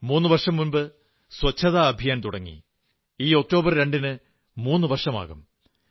മൂന്നു വർഷം മുമ്പ് ശുചിത്വ ദൌത്യം തുടങ്ങി ഈ ഒക്ടോബർ 2 ന് മുന്നു വർഷമാകും